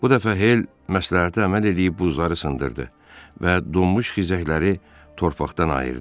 Bu dəfə Hel məsləhətə əməl eləyib buzları sındırdı və donmuş xizəkləri torpaqdan ayırdı.